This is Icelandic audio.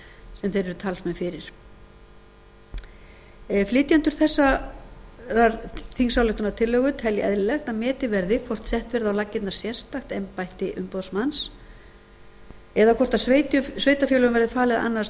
sem þeir eru talsmenn fyrir flytjendur þessarar þingsályktunartillögu telja eðlilegt að metið verði hvort sett verði á laggirnar sérstakt embætti umboðsmanns eða hvort sveitarfélögum verði falið að annast